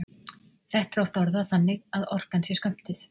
Þetta er oft orðað þannig að orkan sé skömmtuð.